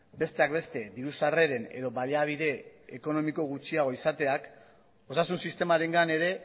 besteak beste diru sarreren edo baliabide ekonomiko gutxiago izateak osasun sistemarengan ere